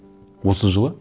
осы жылы